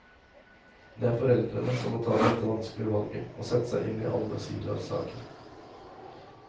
Det er foreldrene som må ta dette vanskelige valget og sette seg inn i alle sider av saken.